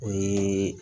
O ye